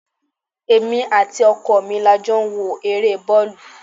Èmi àti ọkọ mi la jọ ń wo ere boolu.